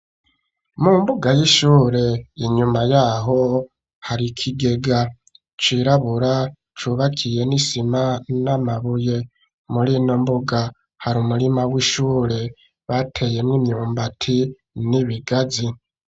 Mu mbuga y'ishure yinyuma yaho hari ikigega cirabura cubakiye n'isima n'amabuye murino mbuga hari umurima w'ishure bateyemwo imyumbati n'ibigazi.